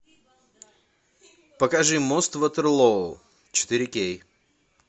покажи мост ватерлоо четыре кей